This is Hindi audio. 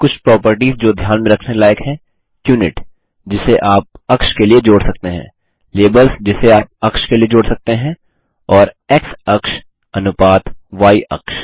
कुछ प्रोपर्टिस जो ध्यान में रखने लायक हैं यूनिट जिसे आप अक्ष के लिए जोड़ सकते हैं लेबल्स जिसे आप अक्ष के लिए जोड़ सकते हैं और एक्स अक्ष अनुपात य अक्ष